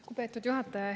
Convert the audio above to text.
Lugupeetud juhataja!